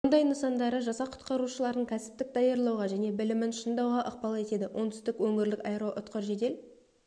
мұндай нысандары жасақ құтқарушыларын кәсіптік даярлауға және білімін шыңдауға ықпал етеді оңтүстік өңірлік аэроұтқыр жедел